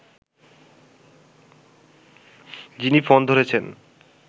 যিনি ফোন ধরেছেন